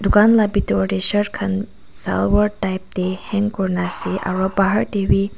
dukan la bidor de shirt kan salwar type de hang kurina ase aro bahar de b.